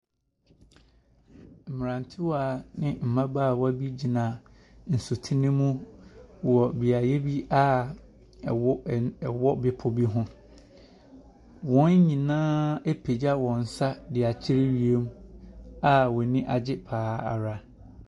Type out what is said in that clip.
Mmerantewa ne mmabaawa bi gyina nsutene mu wɔ beaeɛ bi a ɛwo ɛn ɛwɔ bepɔ bi ho. Wɔn nyinaa apagya wɔn nsa de akyerɛ wiem a wɔn ani agye pa ara.